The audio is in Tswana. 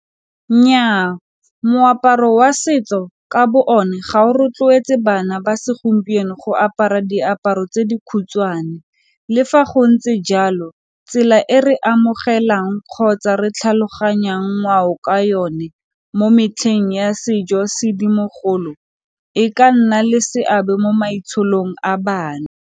Nnyaa moaparo wa setso ka bo one ga o rotloetse bana ba segompieno go apara diaparo tse di khutshwane le fa go ntse jalo e re amogelang kgotsa re tlhaloganyang ngwao ka yone mo metlheng ya sejo-sedimogolo e ka nna le seabe mo matshelong a bana.